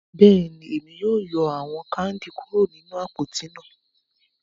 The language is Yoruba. Bẹ́ẹ̀ni, Emi yóò yọ awọn kandi kuro ninu apoti náà